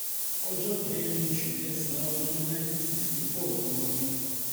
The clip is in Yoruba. ọjọ kẹrin oṣu kẹsan ọdun nineteen sixty four ni wọ́n bi